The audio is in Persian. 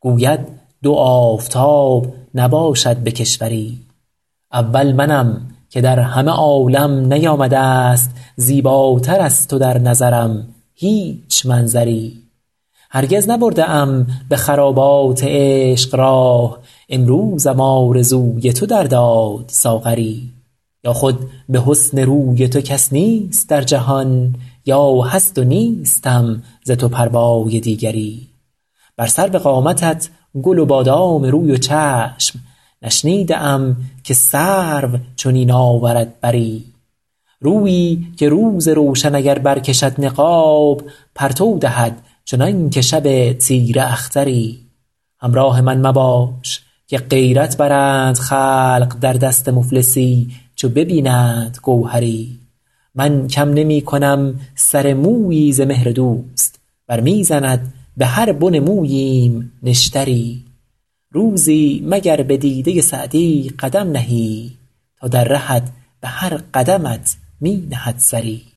گوید دو آفتاب نباشد به کشوری اول منم که در همه عالم نیامده ست زیباتر از تو در نظرم هیچ منظری هرگز نبرده ام به خرابات عشق راه امروزم آرزوی تو در داد ساغری یا خود به حسن روی تو کس نیست در جهان یا هست و نیستم ز تو پروای دیگری بر سرو قامتت گل و بادام روی و چشم نشنیده ام که سرو چنین آورد بری رویی که روز روشن اگر برکشد نقاب پرتو دهد چنان که شب تیره اختری همراه من مباش که غیرت برند خلق در دست مفلسی چو ببینند گوهری من کم نمی کنم سر مویی ز مهر دوست ور می زند به هر بن موییم نشتری روزی مگر به دیده سعدی قدم نهی تا در رهت به هر قدمت می نهد سری